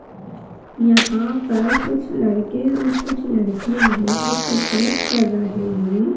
यहाँ पर कुछ लड़के और लड़कियां हैं जो कसरत कर रहे हैं ।